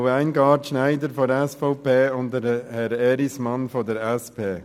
Frau Weingart-Schneider von der SVP und Herr Erismann von der SP.